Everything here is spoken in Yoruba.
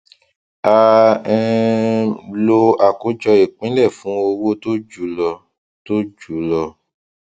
a um lo àkójọ ìpínlẹ fún owó tó ju lọ tó ju lọ